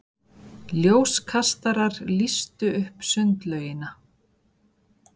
Ljóskastarar lýstu upp sundlaugina.